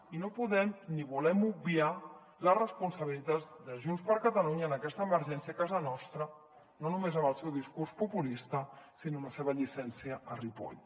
i no podem ni volem obviar la responsabilitat de junts per catalunya en aquesta emergència a casa nostra no només amb el seu discurs populista sinó amb la seva llicència a ripoll